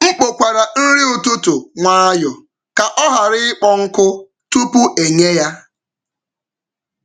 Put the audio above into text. M kpokwara nri ụtụtụ nwayọọ ka ọ ghara ịkpọọ nkụ tupu e nye ya.